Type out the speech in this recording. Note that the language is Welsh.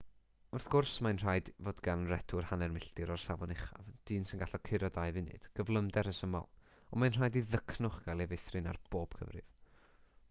wrth gwrs mae'n rhaid fod gan redwr hanner milltir o'r safon uchaf dyn sy'n gallu curo dau funud gyflymder rhesymol ond mae'n rhaid i ddycnwch gael ei feithrin ar bob cyfrif